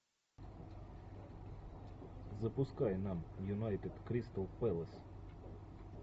запускай нам юнайтед кристал пэлас